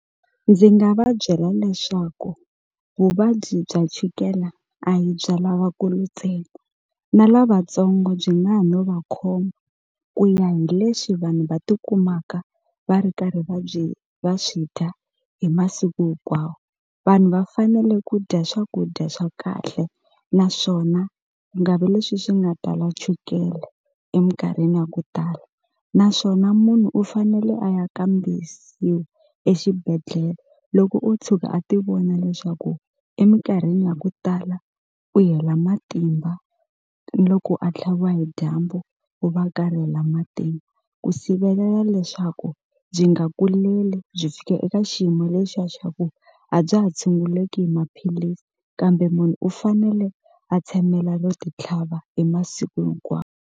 Ndzi nga va byela leswaku vuvabyi bya chukela a hi bya lavakulu ntsena na lavatsongo byi nga ha no va khoma ku ya hi leswi vanhu va tikumaka va ri karhi va byi va swi dya hi masiku hinkwawo vanhu va fanele ku dya swakudya swa kahle naswona ku nga vi leswi swi nga tala chukele eminkarhini ya ku tala naswona munhu u fanele a ya kambisiwa exibedhlele loko o tshuka a ti vona leswaku eminkarhini ya ku tala u hela matimba ni loko a tlhaviwa hi dyambu u va matimba ku sivelela leswaku byi nga kuleli byi fika eka xiyimo lexiya xa ku a bya ha tshunguleki hi maphilisi kambe munhu u fanele a tshamela no ti tlhava hi masiku .